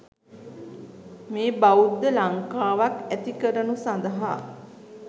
මේ බෞද්ධ ලංකාවක් ඇති කරනු සඳහා